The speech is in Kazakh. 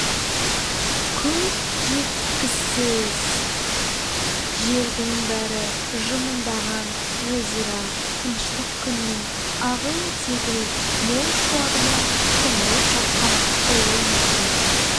көз жеткісіз жердің бәрі жымыңдаған жазира тыныштық күннің ағыл-тегіл мол шуағына шомылып жатқан ұлы мұхит